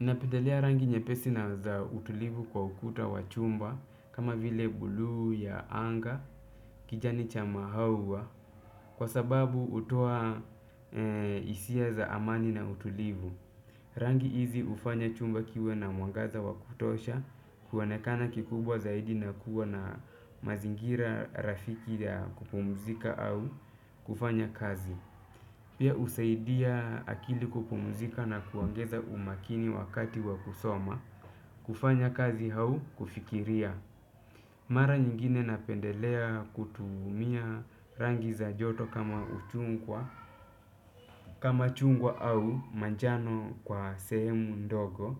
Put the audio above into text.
Napendelea rangi nyepesi na za utulivu kwa ukuta wa chumba kama vile buluu ya anga kijani cha mahawa kwa sababu utoa isia za amani na utulivu. Rangi hizi ufanya chumba kiwe na mwangaza wa kutosha kuonekana kikubwa zaidi na kuwa na mazingira rafiki ya kupumzika au kufanya kazi. Pia usaidia akili kupumuzika na kuongeza umakini wakati wakusoma, kufanya kazi hau kufikiria. Mara nyingine napendelea kutumia rangi za joto kama uchungwa, kama chungwa au manjano kwa sehemu ndogo